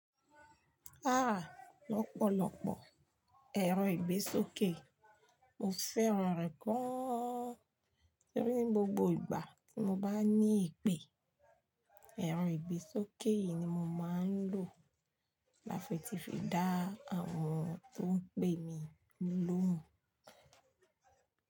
Lọ́pọ̀lọpọ̀ ẹ̀rọ ìgbésókè, mo fẹ́ràn rẹ̀ gaan torí ní gbogbo ìgbà tí mo bá ní èpè, ẹ̀rọ ìgbésókè yìí ni mo máa ń lò láti fi dá àwọn tó ń pè mí lóhùn.